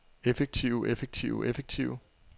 effektive effektive effektive